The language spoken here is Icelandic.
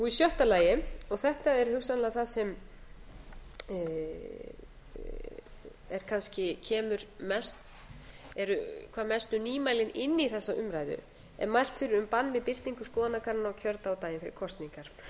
í sjötta lagi og þetta er hugsanlega það sem eru hvað mestu nýmælin inn í þessa umræðu er mælt fyrir um bann við birtingu skoðanakannana á kjördag og daginn fyrir kosningar